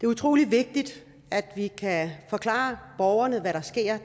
utrolig vigtigt at vi kan forklare borgerne hvad der sker